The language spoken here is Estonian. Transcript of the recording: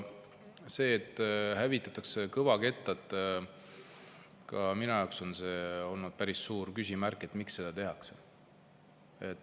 See, et hävitatakse kõvakettad – ka minu jaoks on see olnud päris suur küsimärk, miks seda tehakse.